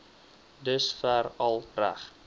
dusver al reg